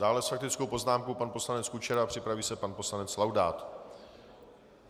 Dále s faktickou poznámkou pan poslanec Kučera, připraví se pan poslanec Laudát.